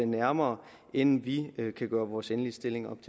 nærmere inden vi kan gøre vores endelige stilling